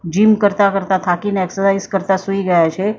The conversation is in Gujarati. જિમ કરતા કરતા થાકીને એક્સરસાઇઝ કરતા સુઈ ગયા છે.